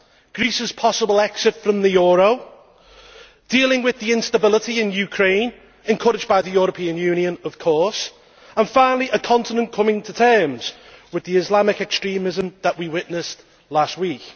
Greece's possible exit from the euro, dealing with the instability in Ukraine encouraged by the European Union, of course and finally, a continent coming to terms with the Islamic extremism that we witnessed last week.